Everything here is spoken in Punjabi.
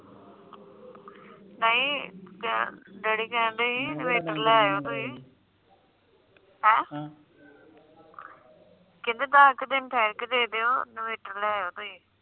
ਨਹੀਂ ਡੈਡੀ ਕਹਿੰਦੇ ਸੀ ਇਨਵਰਟਰ ਲੈ ਆਓ ਤੁਸੀ ਹੈਂ ਕਹਿੰਦੇ ਦਾਸ ਕ ਦਿਨ ਠਹਿਰ ਕ ਦੇਦੇਯੋ ਇਨਵਰਟਰ ਲੈ ਆਓ ਤੁਸੀ